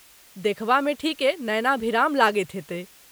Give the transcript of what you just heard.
देखबामे ठीके नयनाभिराम लगैत हेतै ।